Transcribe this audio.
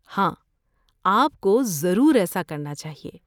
ہاں، آپ کو ضرور ایسا کرنا چاہیے۔